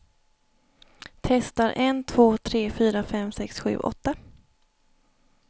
Testar en två tre fyra fem sex sju åtta.